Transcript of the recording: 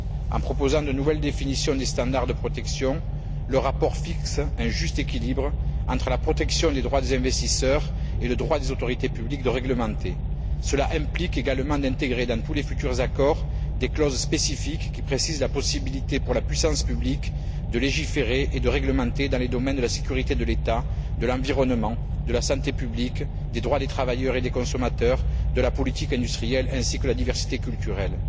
En proposant de nouvelles définitions des standards de protection, le rapport fixe un juste équilibre entre la protection des droits des investisseurs et le droit des autorités publiques de réglementer. Cela implique également d'intégrer dans tous les futurs accords des clauses spécifiques qui précisent la possibilité pour la puissance publique de légiférer et de réglementer dans les domaines de la sécurité de l'État, de l'environnement, de la santé publique, des droits des travailleurs et des consommateurs, de la politique industrielle ainsi que de la diversité culturelle.